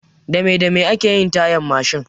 Dame dame ake yin tayan Mashin?